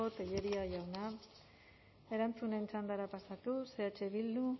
tellería jauna erantzunen txandara pasatuz eh bildu